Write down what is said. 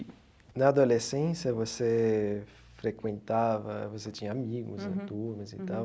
Na adolescência, você frequentava, você tinha amigos e turmas e tal.